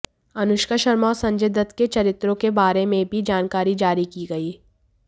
अनुष्का शर्मा और संजय दत्त के चरित्रों के बारे में भी जानकारी जारी की गई